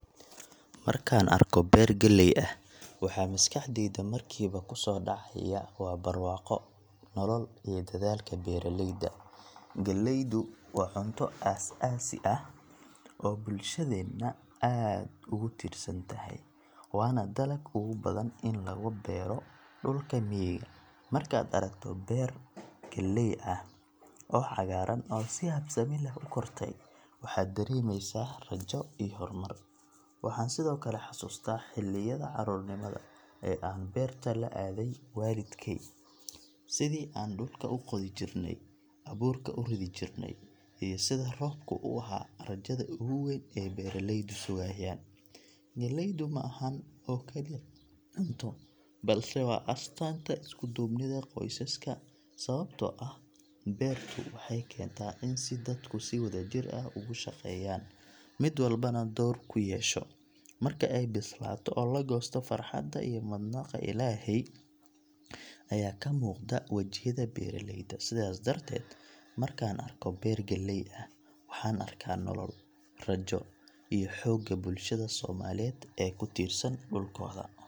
Markaan arko beer galley ah, waxa maskaxdayda markiiba ku soo dhacaya waa barwaaqo, nolol iyo dadaalka beeraleyda. Galleydu waa cunto aas-aasi ah oo bulshadeenna aad ugu tiirsan tahay, waana dalagg ugu badan ee laga beero dhulka miyiga. Markaad aragto beero galley ah oo cagaaran oo si habsami leh u kortay, waxaad dareemeysaa rajo iyo horumar. Waxaan sidoo kale xasuustaa xilliyada carruurnimada ee aan beerta la aaday waalidkey, sidii aan dhulka u qodi jirnay, abuurka u ridi jirnay, iyo sida roobku u ahaa rajada ugu weyn ee beeraleydu sugayaan. Galleydu ma ahan oo kaliya cunto, balse waa astaanta isku-duubnida qoysaska, sababtoo ah beertu waxay keentaa in si dadku si wadajir ah uga shaqeeyaan, mid walbana door ku yeesho. Marka ay bislaato oo la goosto, farxadda iyo mahadnaqa Ilaahay ayaa ka muuqda wejiyada beeraleyda. Sidaas darteed, markaan arko beer galley ah, waxaan arkaa nolol, rajo iyo xoogga bulshada Soomaaliyeed ee ku tiirsan dhulkooda.